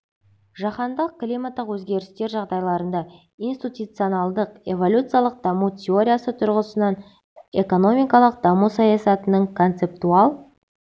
жаһандық климаттық өзгерістер жағдайларында институционалдық-эволюциялық даму теориясы тұрғысынан экономикалық даму саясатының концептуал